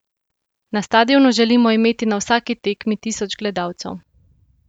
Na stadionu želimo imeti na vsaki tekmi tisoč gledalcev.